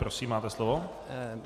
Prosím, máte slovo.